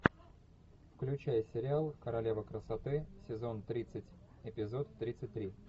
включай сериал королева красоты сезон тридцать эпизод тридцать три